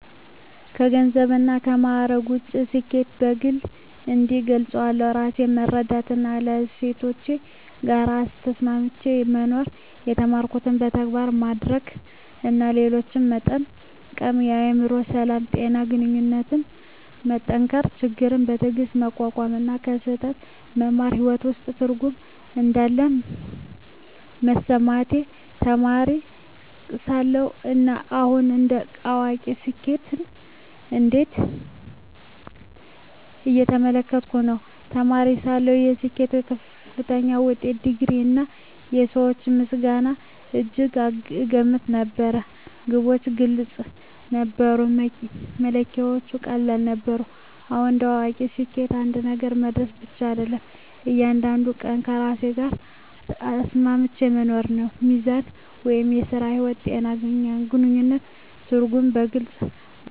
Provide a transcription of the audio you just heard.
ከገንዘብና ከማዕረግ ውጭ፣ ስኬትን በግል እንዲህ እገልጻለሁ፦ ራሴን መረዳትና ከእሴቶቼ ጋር ተስማምቼ መኖር የተማርኩትን በተግባር ማድረግ እና ሌሎችን መጠቀም የአእምሮ ሰላም፣ ጤና እና ግንኙነቶችን መጠንከር ችግሮችን በትዕግስት መቋቋም እና ከስህተት መማር በሕይወቴ ውስጥ ትርጉም እንዳለ መሰማቴ ተማሪ ሳለሁ እና አሁን እንደ አዋቂ ስኬትን እንዴት እየተመለከትኩ ነው? ተማሪ ሳለሁ ስኬትን በከፍተኛ ውጤት፣ ዲግሪ፣ እና የሰዎች ምስጋና እጅግ እገመት ነበር። ግቦች ግልጽ ነበሩ፣ መለኪያዎቹም ቀላል ነበሩ። አሁን እንደ አዋቂ ስኬት አንድ ነገር መድረስ ብቻ አይደለም፤ እያንዳንዱን ቀን ከራሴ ጋር ተስማምቼ መኖር ነው። ሚዛን (ሥራ–ሕይወት)፣ ጤና፣ ግንኙነት እና ትርጉም በግልጽ ቦታ ገብተዋል።